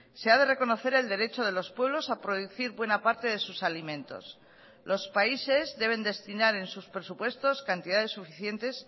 se ha de reconocer el derecho de los pueblos a producir buena parte de sus alimentos los países deben destinar en sus presupuestos cantidades suficientes